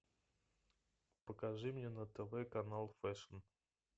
покажи мне на тв канал фэшн